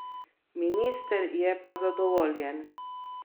Minister je pa zadovoljen.